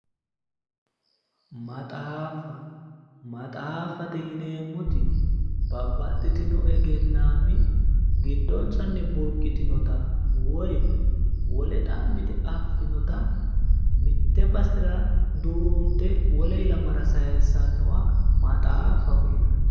maxaaffa maxaafffate yineemmoti babbaxitino egennaammi giddonsanni burqitinota woyi wole xa'mite affinota mitte basera duunte wole ilamara saayiissannota maxaaffaho yinanni.